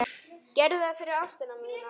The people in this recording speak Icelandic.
Gerðu það fyrir ástina þína.